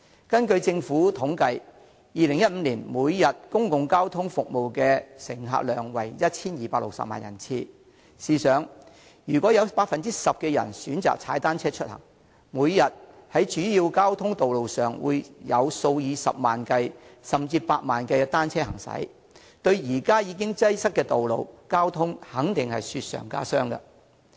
根據政府統計 ，2015 年公共交通服務的每天乘客量為 1,260 萬人次，試想想，如果有 10% 的人選擇踏單車出行，每天在主要交通道路上會有數以十萬計，甚至百萬計的單車行駛，對現時已經擠塞的道路交通肯定會雪上加霜。